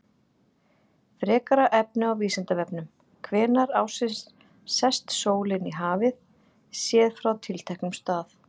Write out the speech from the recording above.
Frekara efni á Vísindavefnum: Hvenær ársins sest sólin í hafið, séð frá tilteknum stað?